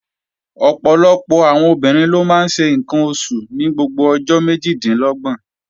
Ọ̀pọ̀lọpọ̀ àwọn obìnrin ló máa ń ṣe ǹkan oṣù ní gbogbo ọjọ́ méjìlélọ́gbọ̀n